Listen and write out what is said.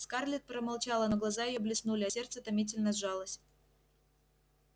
скарлетт промолчала но глаза её блеснули а сердце томительно сжалось